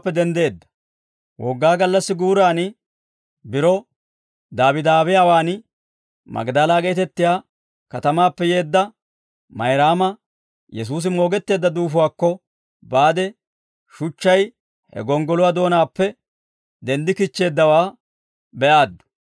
Wogaa gallassi guuran, biro daabidaabiyaawaan, Magdala geetettiyaa katamaappe yeedda Mayraama Yesuusi moogetteedda duufuwaakko baade shuchchay he gonggoluwaa doonaappe denddikichcheeddawaa be'aaddu.